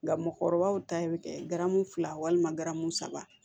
Nka mɔgɔkɔrɔbaw ta bɛ kɛ garamu fila walima garamu saba